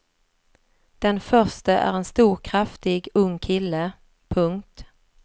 Den förste är en stor kraftig ung kille. punkt